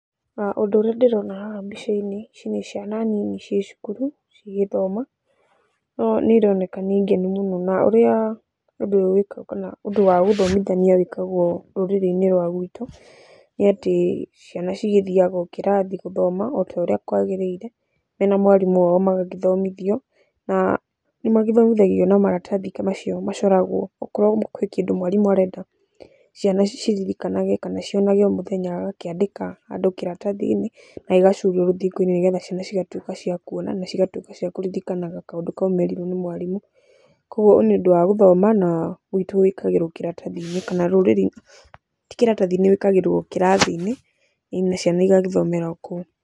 Ũndũ ũrĩa ndĩrona haha mbica-inĩ, ici nĩ ciana nini ciĩ cukuru cigĩthoma no nĩironeka nĩ ngenu mũno na ũrĩa ũndũ ũyũ wĩkagwo ũndũ wa gũthomithania wĩkagwo rũrĩrĩ-inĩ rwa gwitũ, nĩatĩ ciana cigĩthiaga o kĩrathi o gũthoma otorĩa kwagĩrĩire mena mwarimũ wao magagĩthomithio. Na nĩmagĩthomithagio na maratathi ta macio macoragwo, okorwo kwĩ kĩndũ mwarimũ arenda ciana ciririkanage kana cionage o mũthenya agakĩandĩka handũ kĩratathi-inĩ na gĩgacurio rũthingo-inĩ nĩgetha ciana cigatuĩka cia kuona na cigatuĩka cia kũririkanaga kaũndũ kau merirwo nĩ mwarimũ. Koguo nĩũndũ wa gũthoma na guitũ gwĩkagĩrwo kĩratathi-inĩ kana rũrĩrĩ, ti kĩratathi-inĩ, wĩkagĩrwo kĩrathi-inĩ ĩni na ciana igagĩthomera okũu.